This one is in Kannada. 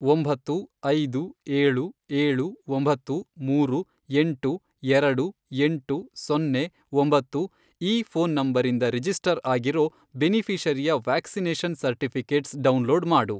ಒಂಬತ್ತು, ಐದು, ಏಳು, ಏಳು, ಒಂಬತ್ತು, ಮೂರು, ಎಂಟು, ಎರಡು, ಎಂಟು, ಸೊನ್ನೆ, ಒಂಬತ್ತು, ಈ ಫ಼ೋನ್ ನಂಬರಿಂದ ರಿಜಿಸ್ಟರ್ ಆಗಿರೋ ಬೆನಿಫಿ಼ಷರಿಯ ವ್ಯಾಕ್ಸಿನೇಷನ್ ಸರ್ಟಿಫಿ಼ಕೇಟ್ಸ್ ಡೌನ್ಲೋಡ್ ಮಾಡು.